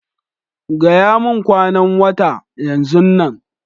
Gaya mun kwanan data, yanzun nan!